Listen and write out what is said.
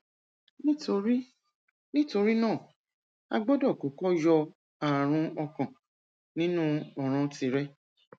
nítorí nítorí náà a gbọdọ kọkọ yọ ààrùn ọkàn nínú ọràn tìrẹ